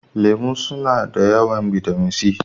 Lemu suna da yawan bitamin C.